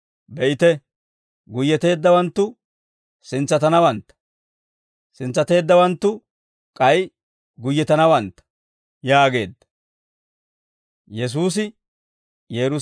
Be'ite; guyyeteeddawanttu, sintsatanawantta; sintsateeddawanttu k'ay guyyetanawantta» yaageedda.